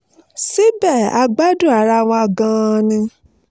síbẹ̀ a gbádùn ara wa gan-an ni